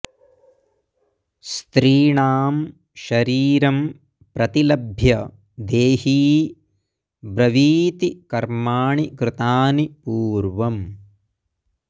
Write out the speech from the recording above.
स्त्रीणां शरीरं प्रतिलभ्य देही ब्रवीति कर्माणि कृतानि पूर्वम्